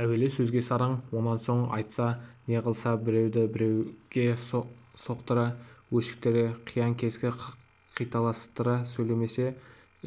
әуелі сөзге сараң онан соң айтса неғылса біреуді біреуге соқтыра өшіктіре қиян-кескі қиталастыра сөйлемесе